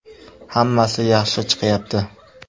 Hammasi yaxshi chiqyapti.